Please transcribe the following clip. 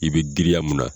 I bɛ giriya mun na